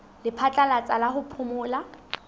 la phatlalatsa la ho phomola